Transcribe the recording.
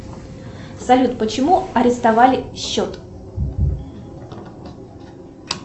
салют почему арестовали счет